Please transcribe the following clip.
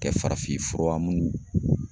Kɛ farafin fura munnu